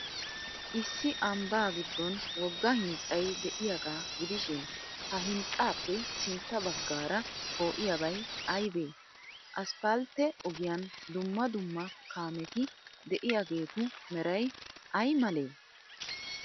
Issi ambbaa giddon wogga hinxxay de'iyaagaa gidishin, ha hinxxaappe sintta baggaara poo'iyaabay aybee? Asppaltte ogiyan dumma dumma kaameti de'iyaageetu meray ay malee?